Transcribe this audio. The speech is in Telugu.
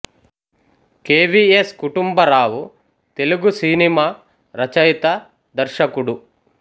K V S Kutumbarao Telugu సినిమా రచయిత దర్శకుడు